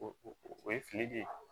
O o ye fili de ye